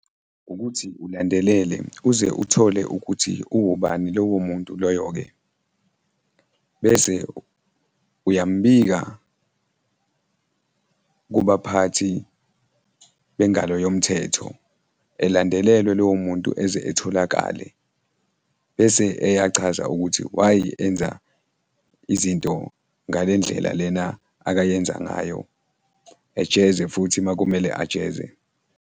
Ukuthi ulandelele kuze uthole ukuthi uwubani lowo muntu loyo-ke bese uyambika kubaphathi bengalo yomthetho, elandelelwe lowo muntu eze etholakale bese eya chaza ukuthi why enza izinto ngale ndlela lena akayenza ngayo, ejeze futhi makumele ajeze.